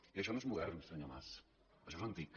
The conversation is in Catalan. i això no és modern senyor mas això és antic